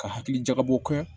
Ka hakili jakabɔ kɛ